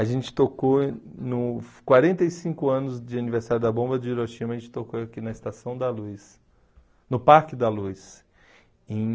A gente tocou, nos quarenta e cinco anos de aniversário da Bomba de Hiroshima, a gente tocou aqui na Estação da Luz, no Parque da Luz, em